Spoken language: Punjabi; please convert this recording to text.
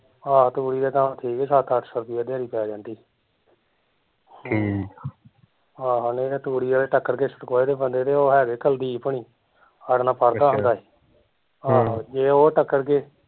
ਆਹੋ ਤੂੜੀ ਦਾ ਕੰਮ ਠੀਕ ਆ ਸੱਤ ਅੱਠ ਸੋ ਰੁੱਪਈਆ ਦਿਹਾੜੀ ਪੈ ਜਾਂਦੀ ਆਹੋ ਨਹੀਂ ਤੇ ਤੂੜੀ ਆਲੇ ਟੱਕਰਗੇ ਹੈਗੇ ਬੰਦੇ ਜਿਹੜੇ ਓਹ ਕੁਲਦੀਪ ਹੁਣੀ ਸਾਡੇ ਨਾਲ਼ ਪੜਦਾ ਹੁੰਦਾ ਸੀ ਜੇ ਓਹ ਟੱਕਰਗੇ